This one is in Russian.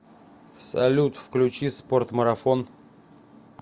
салют включи спорт марафон